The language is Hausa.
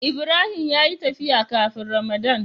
Ibrahim ya yi tafiya kafin ramadan.